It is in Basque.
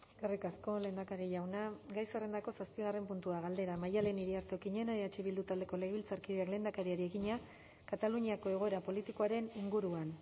eskerrik asko lehendakari jauna gai zerrendako zazpigarren puntua galdera maddalen iriarte okiñena eh bildu taldeko legebiltzarkideak lehendakariari egina kataluniako egoera politikoaren inguruan